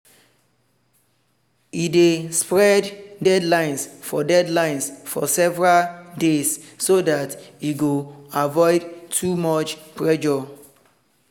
e dey spread deadlines for deadlines for several days so dat e go avoid too much pressure